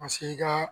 Paseke i ka